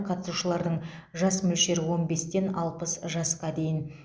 қатысушылардың жас мөлшері он бестен алпыс жасқа дейін